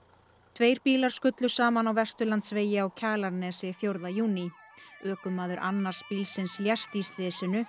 tveir bílar skullu saman á Vesturlandsvegi á Kjalarnesi fjórða júní ökumaður annars bílsins lést í slysinu